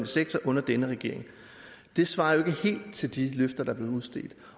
sektor under denne regering det svarer jo ikke helt til de løfter der blev udstedt